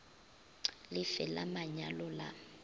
le fe la manyalo la